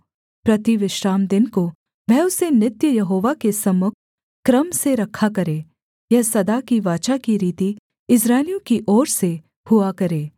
प्रति विश्रामदिन को वह उसे नित्य यहोवा के सम्मुख क्रम से रखा करे यह सदा की वाचा की रीति इस्राएलियों की ओर से हुआ करे